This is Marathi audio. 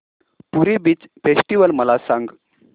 पुरी बीच फेस्टिवल मला सांग